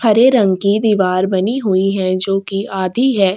हरे रंग की दिवार बनी हुई है जो की आधी है।